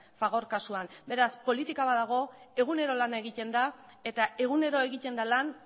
fagor kasuan beraz politika bat dago egunero lana egiten da eta egunero egiten da lan